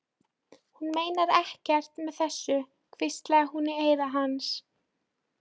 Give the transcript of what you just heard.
Hún meinar ekkert með þessu, hvíslaði hún í eyra hans.